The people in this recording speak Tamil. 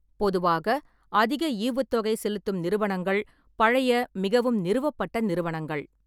பொதுவாக, அதிக ஈவுத்தொகை செலுத்தும் நிறுவனங்கள் பழைய, மிகவும் நிறுவப்பட்ட நிறுவனங்கள்.